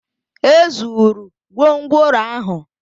E zụrụ gwongworo ahụ